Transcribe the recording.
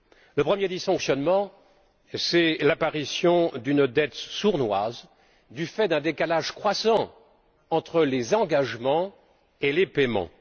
Le premier, c'est l'apparition d'une dette sournoise du fait d'un décalage croissant entre les engagements et les paiements.